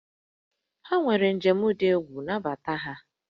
Ha nwere njem dị egwu, nabata ha!